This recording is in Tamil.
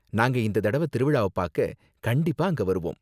நாங்க இந்த தடவ திருவிழாவ பாக்க கண்டிப்பா அங்க வருவோம்.